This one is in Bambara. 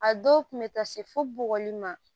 A dɔw kun bɛ taa se fo bo ma